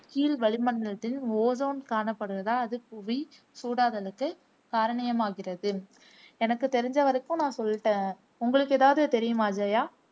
கீழ் வளிமண்டலத்தின் ஓசோன் காணப்படுவாதால் அது புவி சூடாதலுக்கு காரணியமாகிறது எனக்கு தெரிஞ்ச வரக்கும் நான் சொல்லிட்டேன் உங்களுக்கு எதாவது தெரியுமா ஜெயா